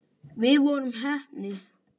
Við vorum heppni.